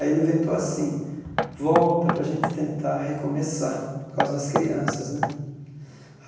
Aí ele inventou assim, volta para a gente tentar recomeçar, por causa das crianças né.